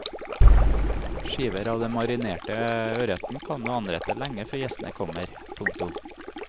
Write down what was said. Skiver av den marinerte ørreten kan du anrette lenge før gjestene kommer. punktum